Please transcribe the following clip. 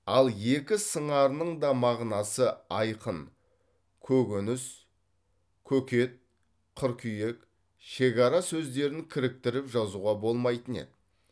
ал екі сыңарының да мағынасы айқын көкөніс көкет қыркүйек шекара сөздерін кіріктіріп жазуға болмайтын еді